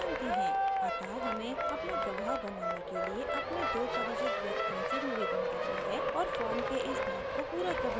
अतः हमें अपना गवाह बनाने के लिए अपने दो परिचित व्यक्तियों से निवेदन करना है और फॉर्म के इस भाग को पूरा करना है